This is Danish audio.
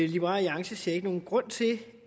liberal alliance ser ikke nogen grund til